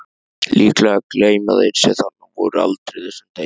Líklega gleyma þeir sem þarna voru aldrei þessum degi.